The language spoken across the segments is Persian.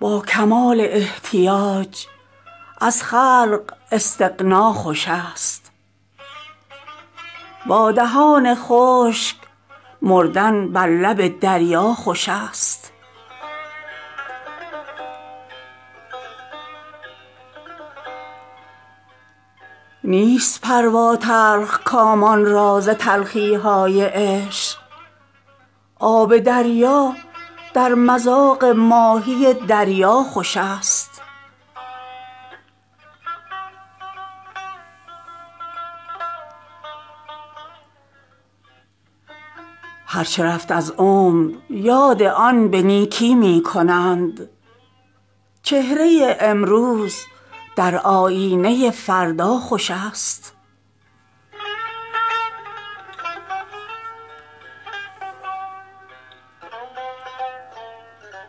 با کمال احتیاج از خلق استغنا خوش است با دهان خشک مردن بر لب دریا خوش است نیست پروا تلخ کامان را ز تلخی های عشق آب دریا در مذاق ماهی دریا خوش است کوه طاقت برنمی آید به موج حادثات لنگر از رطل گران کردن در این دریا خوش است بادبان کشتی می نعره مستانه است های وهوی می کشان در مجلس صهبا خوش است خرقه تزویر از باد غرور آبستن است حق پرستی در لباس اطلس و دیبا خوش است ماه در ابر تنک جولان دیگر می کند چهره طاعت نهان در پرده شب ها خوش است هر چه رفت از عمر یاد آن به نیکی می کنند چهره امروز در آیینه فردا خوش است فکر شنبه تلخ دارد جمعه اطفال را عشرت امروز بی اندیشه فردا خوش است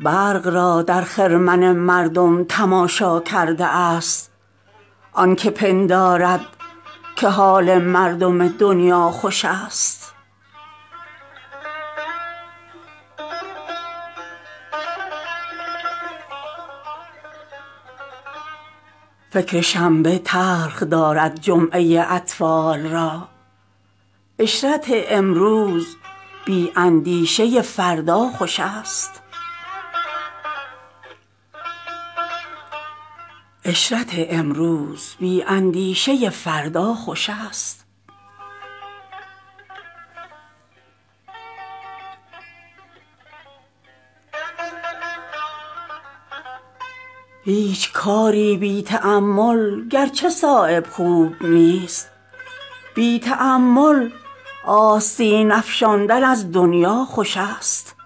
برق را در خرمن مردم تماشا کرده است آن که پندارد که حال مردم دنیا خوش است زور بر راه آورد چون راهرو تنها شود از دو عالم دشت پیمای طلب تنها خوش است ناقصان در پرده ظلمت نمی بینند نور ورنه پیش کاملان طاوس سر تا پا خوش است هیچ کاری بی تأمل گرچه صایب خوب نیست بی تأمل آستین افشاندن از دنیا خوش است